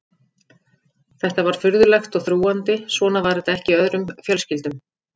Þetta var furðulegt og þrúgandi, svona var þetta ekki í öðrum fjölskyldum.